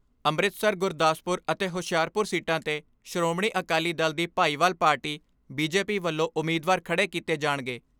ਅੰਮ੍ਰਿਤਸਰ, ਗੁਰਦਾਸਪੁਰ ਅਤੇ ਹੁਸ਼ਿਆਰਪੁਰ ਸੀਟਾਂ 'ਤੇ ਸ਼੍ਰੋਮਣੀ ਅਕਾਲੀ ਦਲ ਦੀ ਭਾਈਵਾਲ ਪਾਰਟੀ ਬੀਜੇਪੀ ਵੱਲੋਂ ਉਮੀਦਵਾਰ ਖੜੇ ਕੀਤੇ ਜਾਣਗੇ।